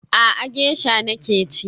A'a, gesha nake ci